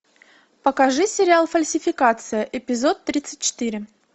покажи сериал фальсификация эпизод тридцать четыре